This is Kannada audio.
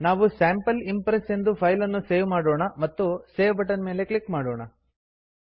ನಾವು ಸ್ಯಾಂಪಲ್ ಇಂಪ್ರೆಸ್ ಎಂದು ಫೈಲ್ ಅನ್ನು ಸೇವ್ ಮಾಡೋಣ ಮತ್ತು ಸೇವ್ ಬಟನ್ ಮೇಲೆ ಕ್ಲಿಕ್ ಮಾಡೋಣ